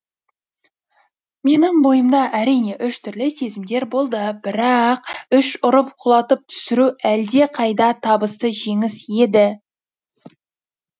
менің бойымда әрине әр түрлі сезімдер болды бірақ үш ұрып құлатып түсіру әлде қайда табысты жеңіс еді